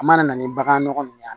A mana na ni bagan nɔgɔ nunnu ye